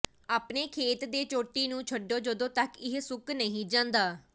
ਆਪਣੇ ਖੇਤ ਦੇ ਚੋਟੀ ਨੂੰ ਛੱਡੋ ਜਦੋਂ ਤੱਕ ਇਹ ਸੁੱਕ ਨਹੀਂ ਜਾਂਦਾ